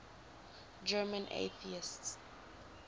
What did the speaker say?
german atheists